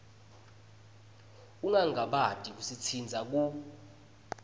ungangabati kusitsintsa ku